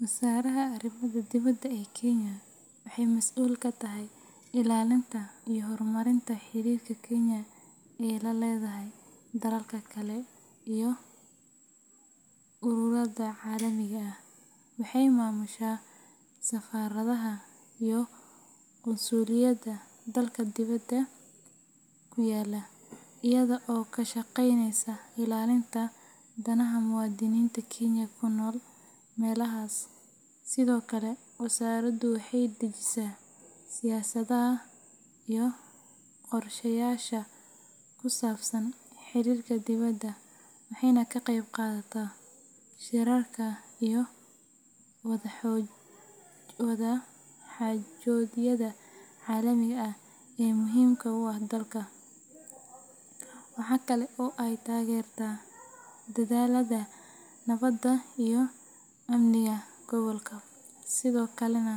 Wasaaradda Arrimaha Dibadda ee Kenya waxay mas’uul ka tahay ilaalinta iyo horumarinta xiriirka Kenya la leedahay dalalka kale iyo ururada caalamiga ah. Waxay maamushaa safaaradaha iyo qunsuliyadaha dalka dibadda ku yaalla, iyada oo ka shaqeynaysa ilaalinta danaha muwaadiniinta Kenya ku nool meelahaas. Sidoo kale, wasaaraddu waxay dejisaa siyaasadaha iyo qorshayaasha ku saabsan xiriirka dibadda, waxayna ka qeybqaadataa shirarka iyo wadaxaajoodyada caalamiga ah ee muhiimka u ah dalka. Waxaa kale oo ay taageertaa dadaallada nabadda iyo amniga gobolka, sidoo kalena